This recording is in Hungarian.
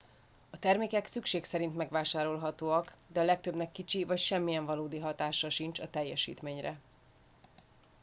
a termékek szükség szerint megvásárolhatóak de a legtöbbnek kicsi vagy semmiyen valódi hatása sincs a teljesítményre